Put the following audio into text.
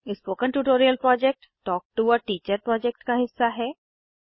spoken tutorial project talk to a teacher project का हिस्सा है